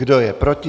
Kdo je proti?